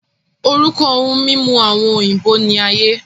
Orúkọ ohun mímu àwọn òyìnbó ní aye